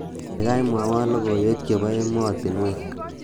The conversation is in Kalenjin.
kaigai mwowon logoiwek chebo emotinywek